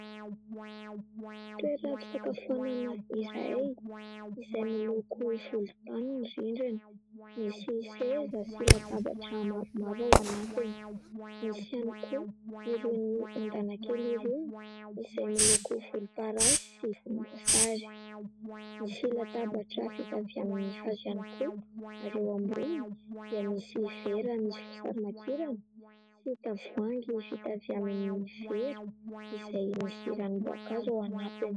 Toeram-pisakafoanana iray izay miloko volontany ny rindrina, misy seza sy latabatra maromaro ao anatiny, misy ihany koa irony ondana kely irony izay miloko volomparasy sy volomboasary. Misy latabatra vita avy amin'ny hazo ihany koa ary eo amboniny dia misy vera misy voasarimakirana sy tavoahangy vita avy amin'ny vera izay misy ranom-boankazo ao anatiny.